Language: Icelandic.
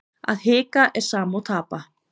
Að hika er sama og tapa.